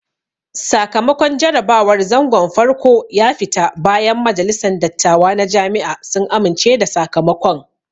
Sakamakon jarabawar zangon farko ya fita bayan majalisan dattawa na Jami'a sun amince da sakamakon